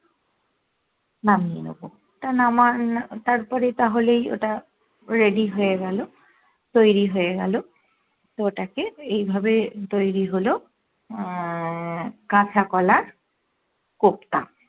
নামিয়ে নেবো তা তারপরে তাহলেই ওটা ready হয়ে গেলো তৈরী হয়ে গেলো তো ওটাকে এই ভাবে তৈরী হলো আহ কাঁচা কলার কোপ্তা